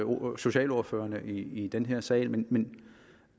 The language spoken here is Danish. socialordførernes i den her sal men